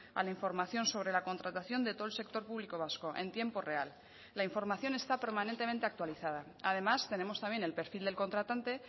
a la información sobre la contratación de todo el sector público vasco en tiempo real la información está permanentemente actualizada además tenemos también el perfil del contratante